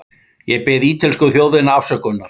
Ég bið ítölsku þjóðina afsökunar.